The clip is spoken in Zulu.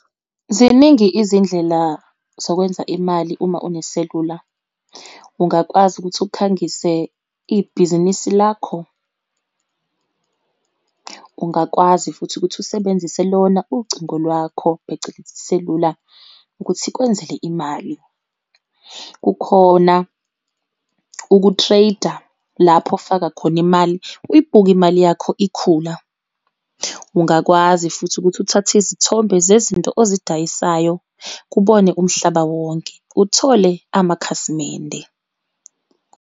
Ziningi izindlela zokwenza imali uma une selula. Ungakwazi ukuthi ukhangise ibhizinisi lakho, ungakwazi futhi ukuthi usebenzise lona ucingo lwakho, phecelezi iselula ukuthi ikwenzele imali. Kukhona uku-trade-a lapho ofaka khona imali, uyibuke imali yakho ikhula. Ungakwazi futhi ukuthi uthathe izithombe zezinto ozidayisayo, kubone umhlaba wonke, uthole amakhasimende.